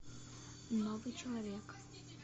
новый человек